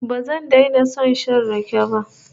Ba zan daina son shan rake ba